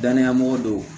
Danaya mɔgɔ dow